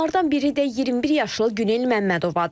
Onlardan biri də 21 yaşlı Günel Məmmədovadır.